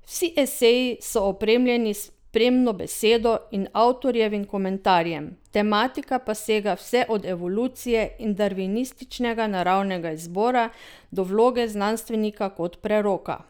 Vsi eseji so opremljeni s spremno besedo in avtorjevim komentarjem, tematika pa sega vse od evolucije in darvinističnega naravnega izbora do vloge znanstvenika kot preroka.